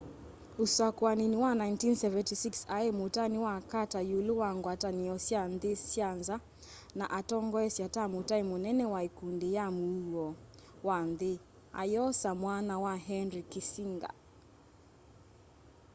usakuanini wa 1976 ai mutai wa carter iulu wa ngwatanio sya nthi syanza na atongoesya ta mutai munene wa ikundi ya muuo wa nthi ayosa mwanya wa henry kissinger